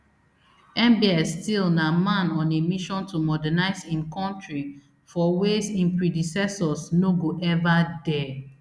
mbs still na man on a mission to modernise im kontri for ways im predecessors no go ever dare